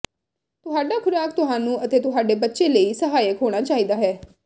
ਤੁਹਾਡਾ ਖੁਰਾਕ ਤੁਹਾਨੂੰ ਅਤੇ ਤੁਹਾਡੇ ਬੱਚੇ ਲਈ ਸਹਾਇਕ ਹੋਣਾ ਚਾਹੀਦਾ ਹੈ